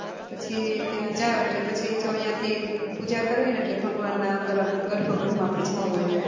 પછી ત્યાં જાવ એટલે પછી જો અયા થી પૂજા કરવી ને અટલે ભગવાન ના અંદર આમ ગર્ભ ગૃહ માં જવું હોઈ અટલે